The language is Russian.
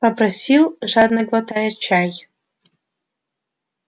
попросил жадно глотая чай